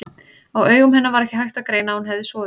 Á augum hennar var ekki hægt að greina að hún hefði sofið.